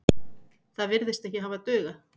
Það virðist ekki hafa dugað.